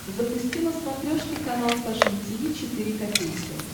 запусти на смотрешке канал фэшн ти ви четыре ка